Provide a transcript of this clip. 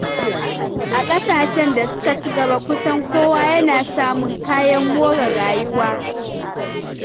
A ƙasashen da suka ci gaba, kusan kowa yana samun kayan more rayuwa.